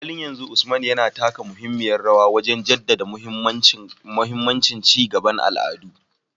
A halin yanzu, Usman yana taka muhimmiyar rawa wajen jaddada mahimmancin ci gaban al'adu